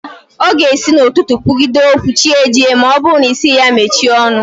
Ọ ga-esi n'ụtụtụ kwugide okwu chi jie ma ọ bụrụ na ị sịghị ya mechie ọnụ